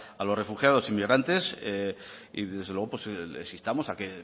a los refugiados y migrantes y desde luego les instamos a que